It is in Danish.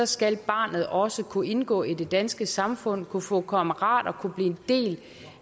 skal barnet også kunne indgå i det danske samfund skal kunne få kammerater og kunne blive en del